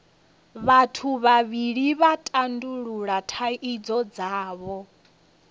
vhathu vhavhili vha tandulula thaidzo dzavho